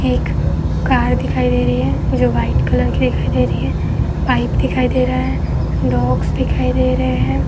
एक कार दिखाई दे रही है जो व्हाइट कलर की दिखाई दे रही है। पाइप दिखाई दे रहा है। डॉग्स दिखाई दे रहे हैं।